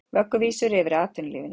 Vögguvísur yfir atvinnulífinu